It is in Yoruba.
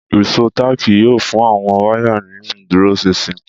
Ìṣó táàkì yóò fún àwọn wáyà ní ìdúróṣinṣin